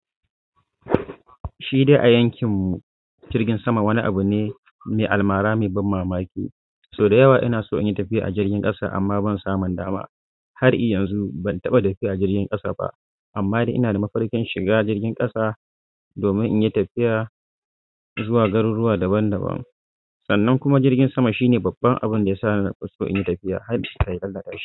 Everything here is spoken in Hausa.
Shidai a yankin mu jirkin sama wani abu ne me almara mai ban mamaki. Sau da yawa ina so in yi tafiya a jirgin s'ƙasa amma ban samun dama. Har iyanzu ban taɓa tafiya a jirgin ƙasa ba, amma dai ina da mafarkin shiga jirgin ƙasa domin in yi tafiya zuwa garuruwa daban-daban. Sannan kuma jirgin sama shine babban abin da ya sa ni nafi so in yi tafiya har kai karka tashi.